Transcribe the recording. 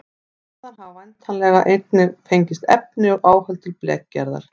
Þaðan hafa væntanlega einnig fengist efni og áhöld til blekgerðar.